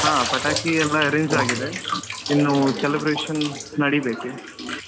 ಹಾ ಪಟಾಕಿ ಎಲ್ಲ arrange ಆಗಿದೆ ಇನ್ನು celebration ನಡೀಬೇಕು.